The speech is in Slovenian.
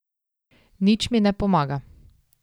Nič mi ne pomaga.